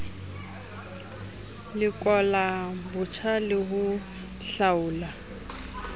lekola botjha le ho hlaola